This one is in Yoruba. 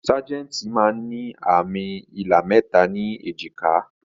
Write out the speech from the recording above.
Sajẹ́ntí máa ń ní àmì ilà mẹta ni èjìká